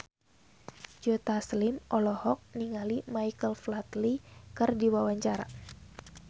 Joe Taslim olohok ningali Michael Flatley keur diwawancara